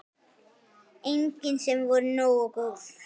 Engin sem voru nógu góð.